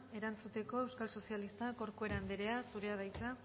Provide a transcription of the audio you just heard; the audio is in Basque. erantzuteko euskal socialista corcuera andrea zurea da hitza